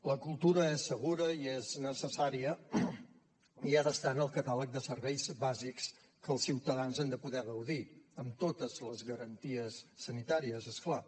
la cultura és segura i és necessària i ha d’estar en el catàleg de serveis bàsics que els ciutadans han de poder gaudir amb totes les garanties sanitàries és clar